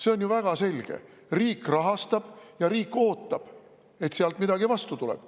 See on ju väga selge: riik rahastab ja riik ootab, et sealt midagi vastu tuleb.